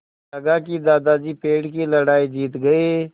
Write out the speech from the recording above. लगा कि दादाजी पेड़ की लड़ाई जीत गए